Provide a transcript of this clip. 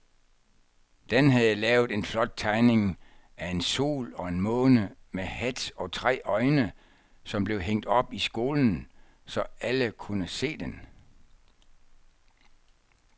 Dan havde lavet en flot tegning af en sol og en måne med hat og tre øjne, som blev hængt op i skolen, så alle kunne se den.